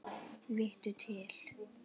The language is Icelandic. Vittu til!